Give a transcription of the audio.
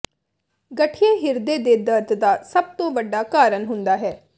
ਗਠੀਏ ਹਿਰਦੇ ਦੇ ਦਰਦ ਦਾ ਸਭ ਤੋਂ ਵੱਡਾ ਕਾਰਨ ਹੁੰਦਾ ਹੈ